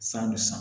San bɛ san